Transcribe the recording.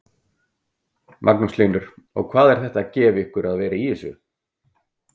Magnús Hlynur: Og hvað er þetta að gefa ykkur að vera í þessu?